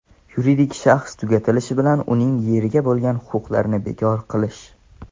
yuridik shaxs tugatilishi bilan uning yeriga bo‘lgan huquqlarini bekor qilish;.